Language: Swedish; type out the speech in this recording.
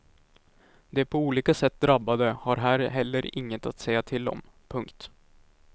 De på olika sätt drabbade har här heller inget att säga till om. punkt